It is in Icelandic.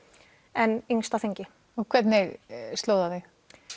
en yngst á þingi og hvernig sló það þig